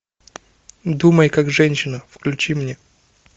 думай как женщина включи мне